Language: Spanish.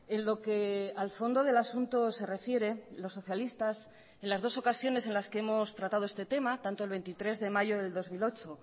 en lo que al fondo del asunto se refiere los socialistas en las dos ocasiones en las que hemos tratado este tema tanto el veintitrés de mayo del dos mil ocho